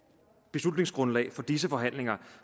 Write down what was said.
beslutningsgrundlag for disse forhandlinger